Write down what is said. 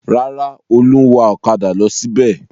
Rárá, Olú ń wa ọ̀kadà lọ síbẹ̀.